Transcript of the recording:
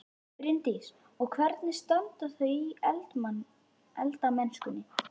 Bryndís: Og hvernig standa þau sig í eldamennskunni?